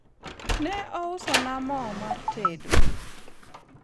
ne ousona mo mar tedo